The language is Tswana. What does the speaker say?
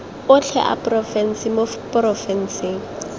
otlhe a porofense mo porofenseng